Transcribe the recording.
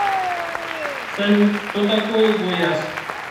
салют что такое гояс